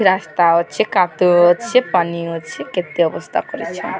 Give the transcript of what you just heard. ରାସ୍ତା ଅଛି କାଦୁଅ ଅଛି ପାନି ଅଛି କେତେ ଅବସ୍ଥା କରିଛି।